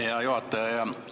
Hea juhataja!